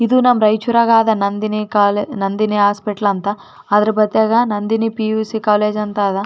ಇದು ನಮ್ಮ ರಾಯಚೂರಾಗ್ ಆದ ನಂದಿನಿ ಕಾಲ್ ನಂದಿನಿ ಹಾಸ್ಪಿಟಲ್ ಅಂತ ಅದರ ಬದಿಯಾಗ ನಂದಿನಿ ಪಿ.ಯು.ಸಿ ಕಾಲೇಜ್ ಅಂತ ಅದಾ .